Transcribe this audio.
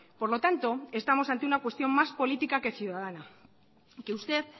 por lo tanto estamos ante una cuestión más política que ciudadana y que usted